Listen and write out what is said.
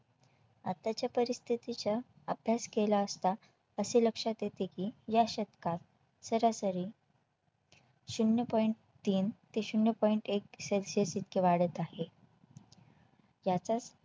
आताच्या परिस्थितीच्या अभ्यास केला असता असे लक्षात येते की या शतकात सरासरी शून्य Point तीन ते शून्य Point एक celsius अशे वाढत आहे याचाच